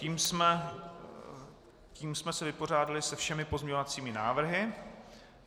Tím jsme se vypořádali se všemi pozměňovacími návrhy.